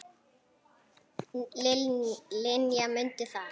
Linja, mundu það.